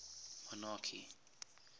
monarchy